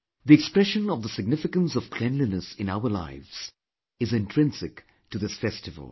The expression of the significance of cleanliness in our lives is intrinsic to this festival